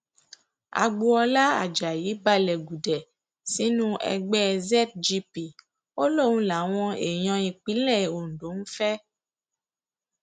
agboola ajayi balẹ gùdẹ sínú ẹgbẹ zgp ó lóun làwọn èèyàn ìpínlẹ ondo ń fẹ